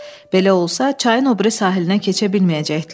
Belə olsa, çayın o biri sahilinə keçə bilməyəcəkdilər.